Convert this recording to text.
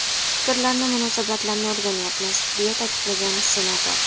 Fikrlarni, munosabatlarni o‘rganyapmiz”, deya ta’kidlagan senator.